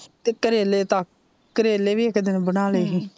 ਤੇ ਕਰੇਲੇ ਤਾਂ ਕਰੇਲੇ ਵੀ ਇੱਕ ਦਿਨ ਬਣਾ ਲਏ ਹੀ ਹਮ,